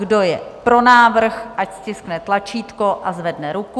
Kdo je pro návrh, ať stiskne tlačítko a zvedne ruku.